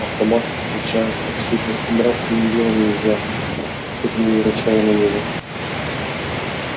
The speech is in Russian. а собаки встречались повсюду и драться с ними было нельзя хоть они и рычали на него